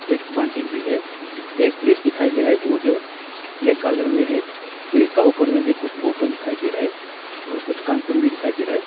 एक बाल्टी भी है एक फ़्रीज दिखाई दे रहा है वो जो ब्लैक कलर में है फ्रीज के ऊपर में भी कुछ बॉटल दिखाई दे रहा है और कुछ कार्टून भी दिखाई दे रहा है।